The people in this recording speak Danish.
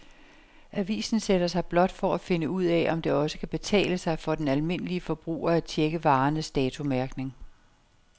Avisen sætter sig blot for at finde ud af, om det også kan betale sig for den almindelige forbruger at checke varernes datomærkning.